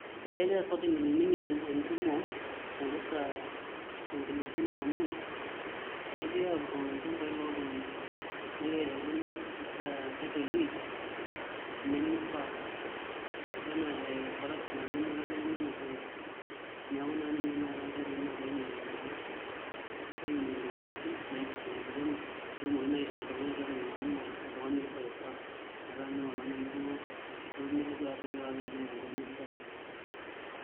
Ekekira kotini ainining entumo naipirta enkuluponi amu, ekekirae aapuroo ilchambai looltunganak. Nekirae aisho iltunganak title deed nemeifaa. Ebaiki naa te corruption apa inoto ele tungani ena title. Neeku naa ninye tenakata enkoitoi nakira aininingie naa aininingie intumoritin naipirta enkuluponi peetumokini naa aisho oltungani title naa naa oltungani oifaa, metaa mee oltungani ake duo olotu nelotu aya title kake mee tenkop naishaa.